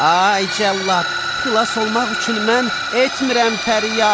Ay cəllad, xilas olmaq üçün mən etmirəm fəryad.